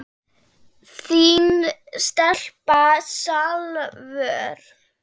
Þín stelpa, Salvör.